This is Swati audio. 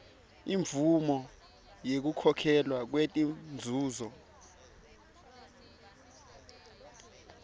imvumo yekukhokhelwa kwetinzuzo